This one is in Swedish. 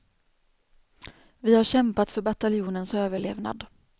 Vi har kämpat för bataljonens överlevnad.